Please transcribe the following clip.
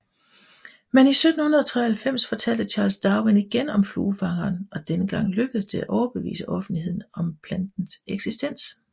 Men i 1793 fortalte Charles Darwin igen om fluefangeren og denne gang lykkedes det at overbevise offentligheden om plantens eksistens